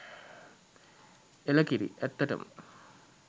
එළකිරි! ඇත්තටම